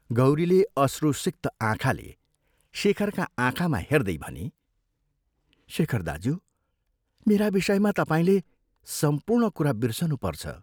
गौरीले अश्रुसिक्त आँखाले शेखरका आँखामा हेर्दै भनी, "शेखर दाज्यू, मेरा विषयमा तपाईंले सम्पूर्ण कुरा बिर्सनुपर्छ।